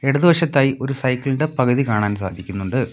ഇടതുവശത്തായി ഒരു സൈക്കിൾ ഇൻ്റെ പകുതി കാണാൻ സാധിക്കുന്നുണ്ട്.